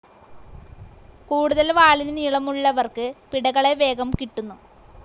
കൂടുതൽ വാളിന് നീള മുള്ളവർക്ക് പിടകളെ വേഗം കിട്ടുന്നു.